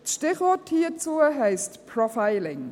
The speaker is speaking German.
Das Stichwort hierzu heisst Profiling.